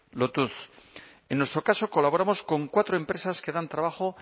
lotuz en nuestro caso colaboramos con cuatro empresas que dan trabajo